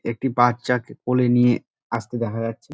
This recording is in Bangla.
একটা বাচ্চা কে কোলে নিয়ে আসতে দেখা যাচ্ছে।